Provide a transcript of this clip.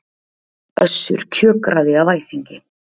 Össur kjökraði af æsingi.